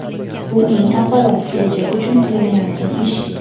Bu eng avvalo kelajak uchun qilinayotgan ish.